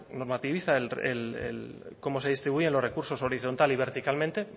normativiza cómo se distribuyen los recursos horizontal y verticalmente